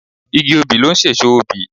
Igi obì ló n sèso obì